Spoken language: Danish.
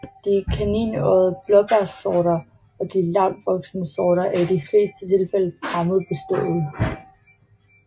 De kaninøjede blåbærsorter og de lavtvoksende sorter er i de fleste tilfælde fremmedbestøvede